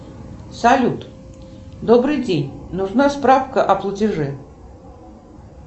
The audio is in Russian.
салют добрый день нужна справка о платеже